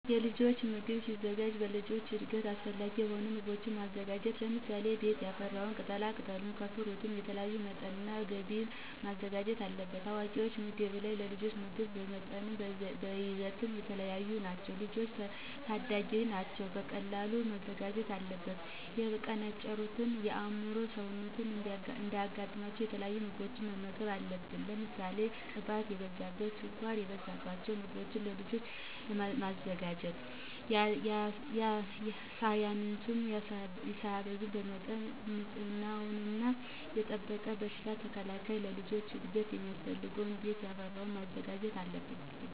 የልጆች ምግብ ሲዘጋጅ ለልጆች እድገት አሰፈላጊ የሆኑ ምጎቦችን ማዘጋጀት ለምሳሌ፦ ቤት ያፈራውን ከቅጣላቅጠሉም ከፍሩትም የተለያዩ በመጠንናበጊዜ መዘጋጀት አለበት። የአዋቂወች ምግብ እና የልጆች ምግብ በመጠንናበይዘት የተለያዩ ናቸው። ልጆች ታዳጊወች ናቸው ቀጥንቃ መዘጋጀት አለበት። የመቀንጨርን የአምሮ ውስንነት እንዳያጋጥማቸው የተለያዩ ምግቦችን መመገብ አለብን። ለምሳሌ ቅባት የበዛበት፣ ስኳር የበዛበቸውን ምገቦችን ለልጆች አለማዘጋጀት። ሳያሳንሱ ሳያበዙ በመጠን ንፅህናወን የጠበቀ በሽታ ተከላካይ ለልጆች እድገት ሚያስፈልገውን ቤት ያፈራወን ማዘጋጀት አለብን።